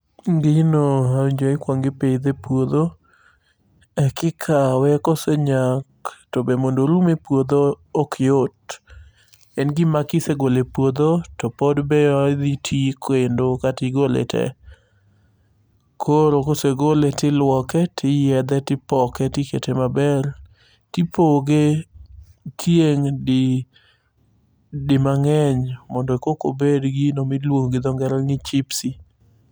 Gino awinjo ni ikuongo ipidhe epuodho, ekikawe kosenyak, to be mondo orum e puodho, ok yot. En gima kisegolo e puodho to pod be odhi ti katigole te. Koro kosegole, tiluoke, tiyiedhe tipoke tikete maber. Tipoge tieng' di dimang'eny mondo kokobed gino miluongo gi dho ngere ni chipsi.